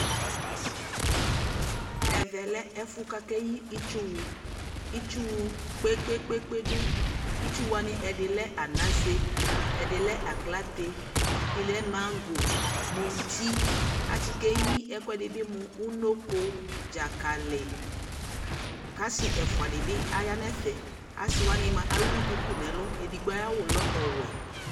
ɛvɛ lɛɛƒʋ kʋakɛ yii itsʋ wʋ, itsʋ wʋ kpekpekpe dʋ, itsʋ wani ɛdi lɛ anasɛ, ɛdi lɛ aklatɛ, ɛdi lɛ mangɔ, mʋti akyi kɛyi ɛkʋɛdi mʋ ʋnɔkɔ, dzakali kʋ asii ɛƒʋa dibi yanʋ ɛƒɛ, ɔsii ɛdigbɔ ɛwʋ dʋkʋ nʋ ɛlʋ, ɛdigbɔ ayi awʋ lɛ ɔwɛ